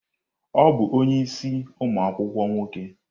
Ọ bụ onye isii umu akwukwuo nwoke?